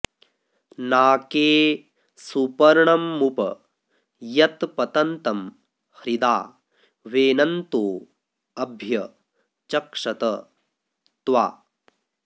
नाके॑ सुप॒र्णमु॑प॒ यत्पत॑न्तं हृ॒दा वेन॑न्तो अ॒भ्य च॑क्षत त्वा